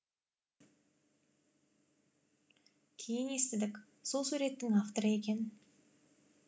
кейін естідік сол суреттің авторы екен